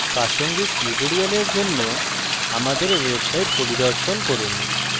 প্রাসঙ্গিক টিউটোরিয়ালের জন্য আমাদের ওয়েবসাইট